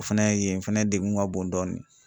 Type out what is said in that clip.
O fɛnɛ yen yen fɛnɛ degun ka bon dɔɔnin.